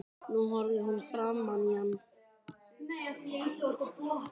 Nú horfir hún framan í hann.